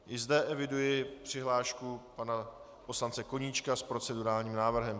I zde eviduji přihlášku pana poslance Koníčka s procedurálním návrhem.